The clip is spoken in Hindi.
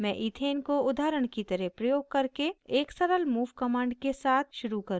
मैं ethane को उदाहरण की तरह प्रयोग करके एक सरल move command के साथ शुरू करुँगी